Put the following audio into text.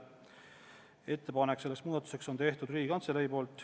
Selle muudatusettepaneku on teinud Riigikantselei.